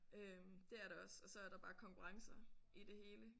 Øh det er der også og så er der bare konkurrencer i det hele